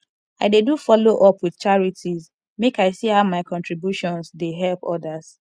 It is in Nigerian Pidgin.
i dey do follow up with charities make i see how my contributions dey help others